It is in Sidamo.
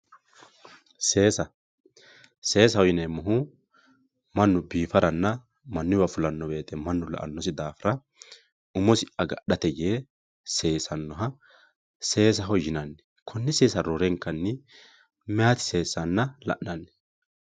seesa seesaho yineemmohu mannu biifaranna mannuyiiwa fulanno woyiite mannu la''annosi daafo umosi agadhate yee sesannoha seesaho yinanni konne seesa roorenkanni mayeeti seessanna la'nanni